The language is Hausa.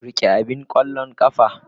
Rike abin ƙwallon ƙafa.